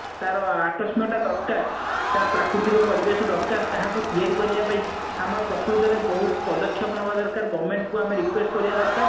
ତାର ଆକସ୍ମିକତା ଦରକାର ତା ପ୍ରାକୃତିକ ପରିବେଶ ଦରକାର ତାହାକୁ ତିଆରି କରିବା ପାଇଁ ଆମେ ପ୍ରକୁତରେ ବହୁତ ପଦକ୍ଷେପ ନବା ଦରକାର government କୁ ଆମେ request କରିବା ଦରକାର